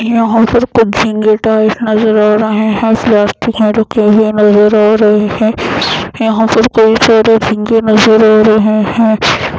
यहाँ पर कुछ झिंगे टाइप नज़र आ रहे हैं प्लास्टिक में रखे हुए नज़र आ रहे हैं यहाँ पर कई सारे झींगे नज़र आ रहे हैं।